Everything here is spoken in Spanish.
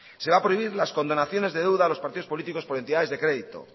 se va a prohibir las condonaciones de deuda a los partidos políticos por entidades de crédito